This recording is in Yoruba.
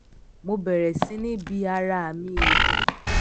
mo bèrè sí ni bi ara mi ìdí